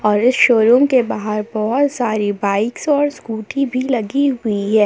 और इस शोरूम के बाहर बहोत सारी बाइक्स और स्कूटी भी लगी हुई हैं।